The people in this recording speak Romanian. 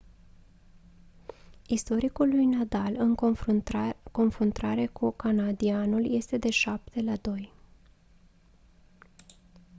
istoricul lui nadal în confruntare cu canadianul este de 7-2